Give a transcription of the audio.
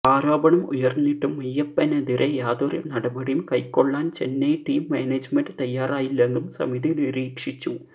ആരോപണം ഉയര്ന്നിട്ടും മെയ്യപ്പനെതിരെ യാതൊരു നടപടിയും കൈക്കൊള്ളാന് ചെന്നൈ ടീം മാനേജ്മെന്റ് തയ്യാറായില്ലെന്നും സമിതി നിരീക്ഷിച്ചു